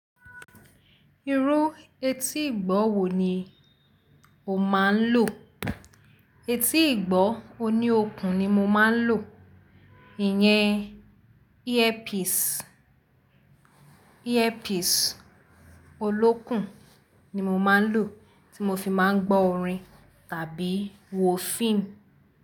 Irú etí ìgbọ́ wò ni o máa n lò? Etí ìgbọ́ oní okùn ni mo máa ń lò, ìyẹn earpiece, earpiece olókùn ni mo máa ń lò tí mo fi máa ń gbọ́ orin tàbí wo fíìmù.